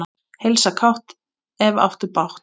Heilsa kátt, ef áttu bágt.